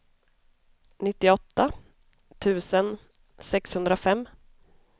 nittioåtta tusen sexhundrafem